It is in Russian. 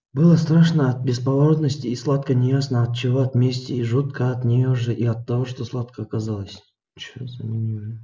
было страшно от бесповоротности и сладко неясно от чего от мести и жутко от нее же и от того что сладко оказалось